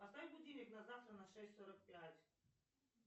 поставь будильник на завтра на шесть сорок пять